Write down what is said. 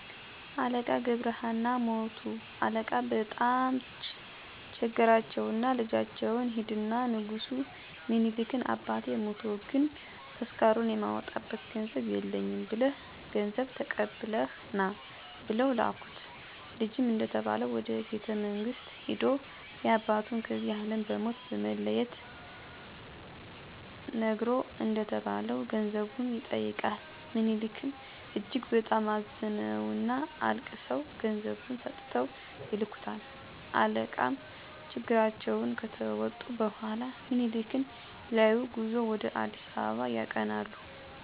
አለቃ ገብረ ሃና ሞቱ አለቃ በጣም ቸገራቸውና ልጃቸውን ሂድና ንጉስ ሚኒሊክን አባቴ ሞቶ ግን ተስካሩን የማወጣበት ገንዘብ የለኝም ብለህ ገንዘብ ተቀብለህ ና ብለው ላኩት። ልጅም እንደተባለው ወደ ቤተመንግስት ሂዶ ያባቱን ከዚህ አለም በሞት መለየት ነግሮ እንደተባለው ገንዘቡን ይጠይቃል። ምኒሊክም እጅግ በጣም አዝነውና አልቅሰው ገንዘቡን ሰጥተው ይልኩታል። አለቃም ችግራቸውን ከተወጡ በኋላ ምኒሊክን ሊያዪ ጉዞ ወደ አ.አ. ያቀናሉ። በቤተመንግስቱም ያያቸው በመገረም እን...ዴ? አለቃ ሞተው አልነበር በማለት እየተገረሙ ለምኒሊክ ሊነግሩ ተጣደፉ። ሚኒሊክም ሲያዩአቸው ገብረሀና ሞተህም አልነበር? ቢሏቸው አለቃም ከሄድኩበት አገር እንደርሶ የሚስማማኝ ንጉስ ባጣ ተመልሼ መጣሁ ብለው ንጉሱን አሳቋቸው አሉ።